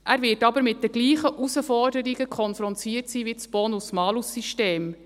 Er wird aber mit denselben Herausforderungen konfrontiert sein wie das Bonus-Malus-System.